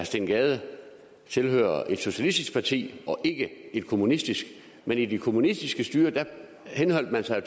steen gade tilhører et socialistisk parti og ikke et kommunistisk men i de kommunistiske styrer henholdt man sig